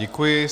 Děkuji.